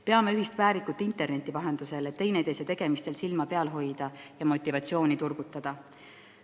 Peame interneti vahendusel ühist päevikut, et teineteise tegemistel silma peal hoida ja motivatsiooni turgutada.